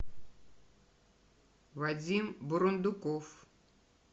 вадим бурундуков